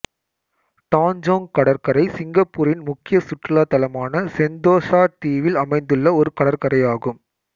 Tanjong கடற்கரை சிங்கப்பூரின் முக்கிய சுற்றுலா தளமான செந்தோசா தீவில் அமைந்துள்ள ஒரு கடற்கரையாகும்